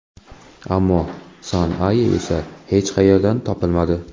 Ammo San-Aye esa hech qayerdan topilmadi.